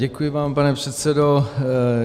Děkuji vám, pane předsedo.